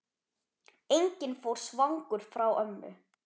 Enginn fór svangur frá ömmu.